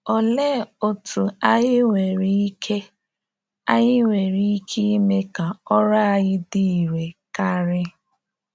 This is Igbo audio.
Olee otú anyị nwere ike anyị nwere ike ime ka ọrụ anyị dị irè karị?